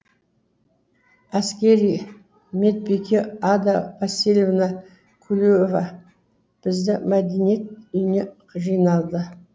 әскери медбике ада васильевна клюева бізді мәдениет үйіне жинады